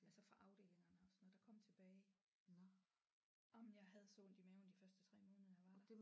Altså fra afdelingerne og sådan noget der kom tilbage jamen jeg havde så ondt i maven de første 3 måneder jeg var der